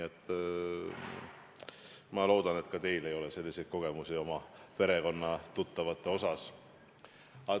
Ma loodan, et ka teil ei ole selliseid kogemusi oma peretuttavatega.